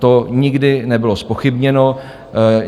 To nikdy nebylo zpochybněno.